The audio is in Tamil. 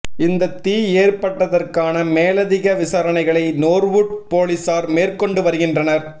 இந்த தீ ஏற்பட்டதற்கான மேலதிக விசாரணைகளை நோர்வூட் பொலிஸார் மேற்கொண்டு வருகின்றனர்